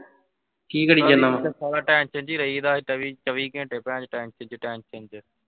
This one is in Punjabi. ਵਿਚ tension ਵਿੱਚ ਹੀ ਰਹੀ ਦਾ ਚਵੀ ਚਵੀ ਘੰਟੇ tension ਵਿਚ tension ਵਿਚ।